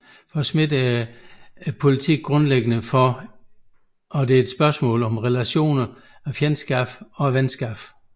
For Schmitt er politik grundlæggende et spørgsmål om relationer af fjendskab og venskab